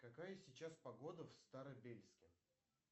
какая сейчас погода в старобельске